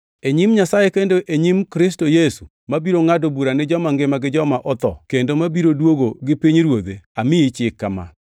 E nyim Nyasaye kendo e nyim Kristo Yesu mabiro ngʼado bura ni joma ngima gi joma otho, kendo mabiro duogo, gi pinyruodhe, amiyi chik kama: